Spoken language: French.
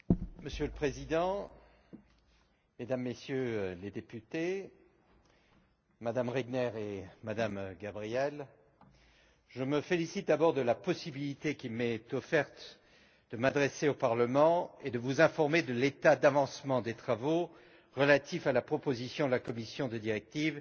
Monsieur le Président, Mesdames et Messieurs les députés, Madame Regner, Madame Gabriel, je me félicite d'abord de la possibilité qui m'est offerte de m'adresser au Parlement et de vous informer de l'état d'avancement des travaux relatifs à la proposition de la Commission concernant une directive